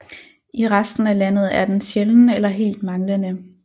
I resten af landet er den sjælden eller helt manglende